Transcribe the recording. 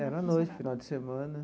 Era à noite, final de semana.